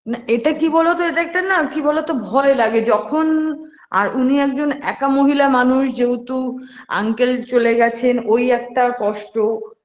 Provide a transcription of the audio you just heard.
না এটা কি বলো তো এটা একটা না কি বলতো ভয় লাগে ভয় লাগে যখন আর উনি একজন একা মহিলা মানুষ যেহুতু uncle চলে গেছেন ওই একটা কষ্ট